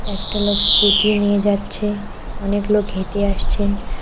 একটা লোক স্কুটি নিয়ে যাচ্ছে অনেক লোক হেঁটে আসছেন।